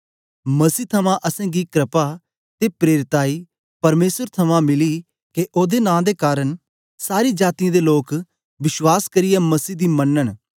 मसीह थमां असेंगी क्रपा ते प्रेरिताई परमेसर थमां मिली के ओदे नां दे कारन सारी जातीयें दे लोक विश्वास करियै मसीह दी मनन